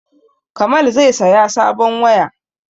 Kamal zai saya sabon waya